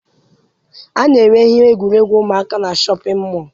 A na-ere ihe egwuregwu ụmụaka na shọpịn mọọ.